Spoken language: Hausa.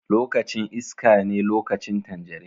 Lokacin iskane lokacin tanjarin.